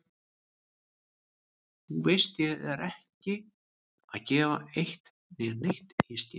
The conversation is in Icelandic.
Þú veist ég er ekki að gefa eitt né neitt í skyn.